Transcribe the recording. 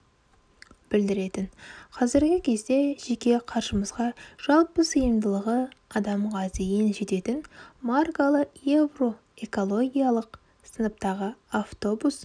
білдіретін қазіргі кезде жеке қаржымызға жалпы сыйымдылығы адамға дейін жететін маркалы евро экологиялық сыныптағы автобус